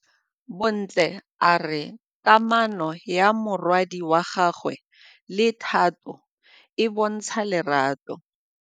Bontle a re kamanô ya morwadi wa gagwe le Thato e bontsha lerato.